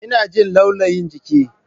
Ina jin laulayin jiki.